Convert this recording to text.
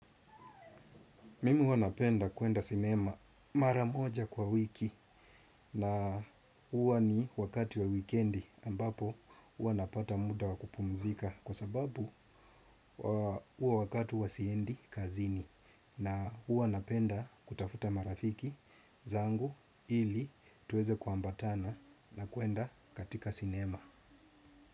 Mimu huwa napenda kuenda sinema mara moja kwa wiki na huwa ni wakati wa wikendi ambapo huwa napata muda wa kupumzika kwa sababu huo wakati huwa siendi kazini na huwa napenda kutafuta marafiki zangu ili tuweze kuambatana na kuenda katika sinema.